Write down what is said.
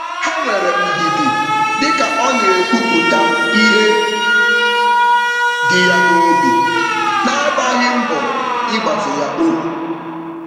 Ha nwere ndidi dịka ọna-ekwupụta ihe dị ya nobi, nagbaghị mbọ igbazi ya olu.